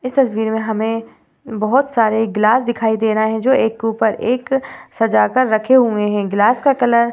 इस तस्वीर में हमें बहोत सारे ग्लास दिखाई दे रहे हैं जो एक के ऊपर एक सजा कर रखे हुएं हैं। ग्लास का कलर --